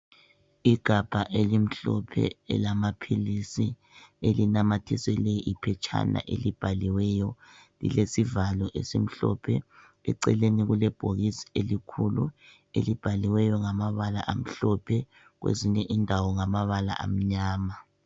Igabha elimhlophe elamaphilisi elinamathiselwe iphetshana elibhaliweyo lilesivalo esimhlophe eceleni kulebhokisi elikhulu elibhaliweyo ngamabala amhlophe kwezinye indawo ngamabala amnyama.